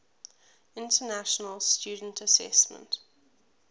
international student assessment